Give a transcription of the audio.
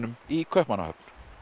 í Kaupmannahöfn